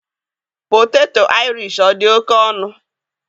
poteto Irish ọ dị oke ọnụ?